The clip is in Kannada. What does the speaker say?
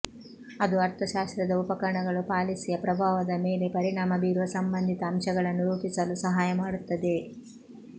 ಅದು ಅರ್ಥಶಾಸ್ತ್ರದ ಉಪಕರಣಗಳು ಪಾಲಿಸಿಯ ಪ್ರಭಾವದ ಮೇಲೆ ಪರಿಣಾಮ ಬೀರುವ ಸಂಬಂಧಿತ ಅಂಶಗಳನ್ನು ರೂಪಿಸಲು ಸಹಾಯ ಮಾಡುತ್ತದೆ